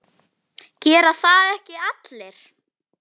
Gera það ekki allir?